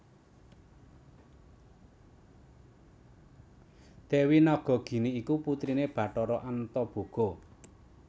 Dewi Nagagini iku putrine Bathara Antaboga